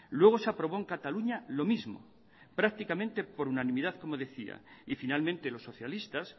luego se aprobó en cataluña lo mismo prácticamente por unanimidad como decía y finalmente los socialistas